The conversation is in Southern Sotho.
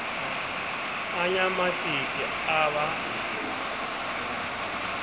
a nya matsete a ba